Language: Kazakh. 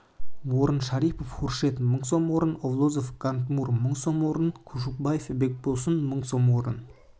орын шарипов хуршед мың сом орын олзвол гантумур мың сом орын кушубаков бекболсун мың сом орын